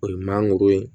O ye mangoro ye